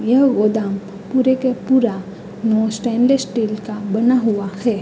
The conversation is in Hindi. यह गोदाम पूरे के पूरा स्टील का बना हुआ है।